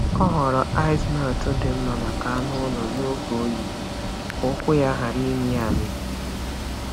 Ọ họọrọ ice melt dị mma maka anụ ụlọ n’oge oyi ka ụkwụ ya ghara ịmị amị.